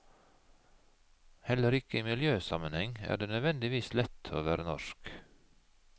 Heller ikke i miljøsammenheng er det nødvendigvis lett å være norsk.